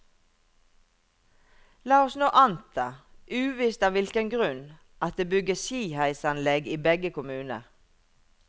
La oss nå anta, uvisst av hvilken grunn, at det bygges skiheisanlegg i begge kommuner.